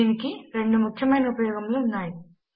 దీనికి రెండు ముఖ్యమైన ఉపయోగములు ఉన్నాయి